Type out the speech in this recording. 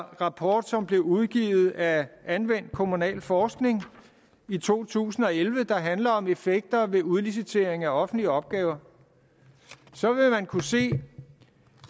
rapport som blev udgivet af anvendt kommunalforskning i to tusind og elleve der handler om effekter ved udlicitering af offentlige opgaver så vil man kunne se